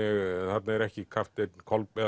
þarna er ekki Kolbeinn